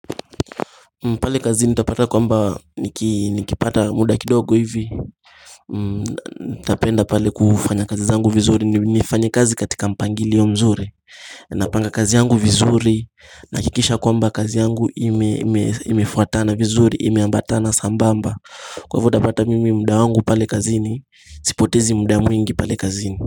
Pale kazini nitapata kwamba nikipata muda kidogo hivi nitapenda pale kufanya kazi zangu vizuri nnifanye kazi katika mpangilio mzuri napanga kazi yangu vizuri nahakikisha kwamba kazi yangu imefuatana vizuri imeambatana sambamba kwa hivo utapata mimi muda wangu pale kazini sipotezi muda mwingi pale kazini.